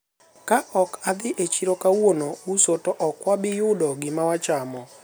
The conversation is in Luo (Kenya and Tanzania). ka ok adhi e chiro kawuono uso to ok wabiyudo gima wachamo